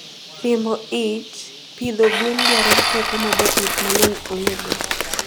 Riembo ij pidho gwen dwaro teko majopith mangeny ongego